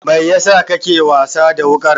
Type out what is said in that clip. Mai yasa kake wasa da wuƙar?